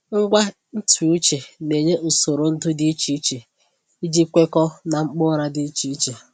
Ngwa ntụ uche na-enye usoro ndu dị iche iche iji kwekọọ na mkpa ụra dị iche iche.